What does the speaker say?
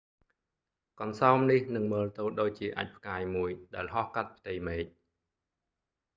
កន្សោមនេះនឹងមើលទៅដូចជាអាចម៍ផ្កាយមួយដែលហោះកាត់ផ្ទៃមេឃ